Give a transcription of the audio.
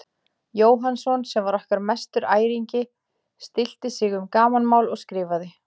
Jóhannsson, sem var okkar mestur æringi, stillti sig um gamanmál og skrifaði